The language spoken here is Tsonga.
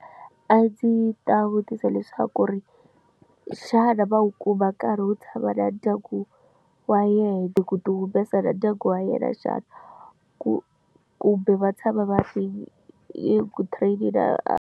A ndzi ta vutisa leswaku ri xana va wu kuma nkarhi wo tshama na ndyangu wa yena ku ti humesa na ndyangu wa yena xana ku kumbe va tshama va ri eku training na.